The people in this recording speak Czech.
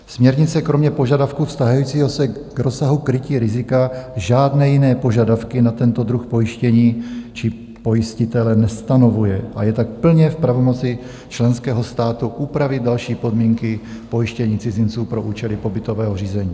Směrnice kromě požadavku vztahujícího se k rozsahu krytí rizika žádné jiné požadavky na tento druh pojištění či pojistitele nestanovuje a je tak plně v pravomoci členského státu upravit další podmínky pojištění cizinců pro účely pobytového řízení.